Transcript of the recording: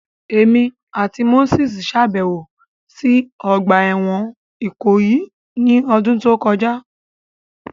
Emi ati Moses ṣabẹwo si ogba ẹwọn Ikoyi ni ọdun to kọja